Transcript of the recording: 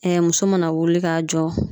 muso mana wuli k'a jɔ